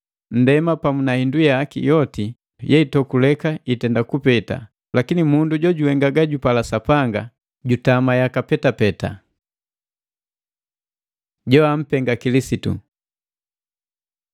Nndema pamu na hindu yaki yoti yeitokuleka itenda kupeta; lakini mundu jojuhenga gajupala Sapanga, jutama yaka petapeta. Joampenga Kilisitu